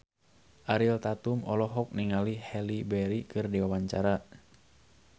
Ariel Tatum olohok ningali Halle Berry keur diwawancara